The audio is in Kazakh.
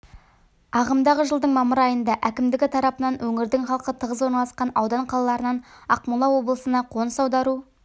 ағымдағы жылдың мамыр айында әкімдігі тарапынан өңірдің халқы тығыз орналасқан аудан қалаларынан ақмола облысына қоныс аудару